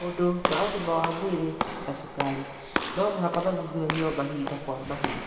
Maũndũ ma ũgima wa mwĩrĩ ta cukari t no mũhaka mathuthuragio mahinda kwa mahinda.